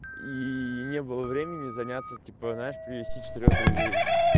и не было времени заняться типа знаешь привести четырёх друзей